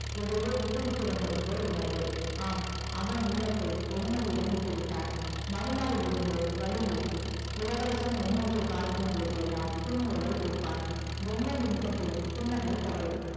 எதையோ விட்டு விட்டு வந்ததுபோல் உணர்வு ஆம் அவன் உள்ளத்தை வெண்மதியிடம் விட்டு விட்டான் மறுநாளில் இருந்து வழியில் இளவரசன் வெண்மதியை பார்க்கும் போதெல்லாம் புன்முறுவல் பூப்பான் வெண்மதி முகத்திலும் புன்னகை தவழும்